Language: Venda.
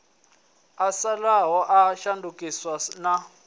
a fhaṱaho a shandukisaho na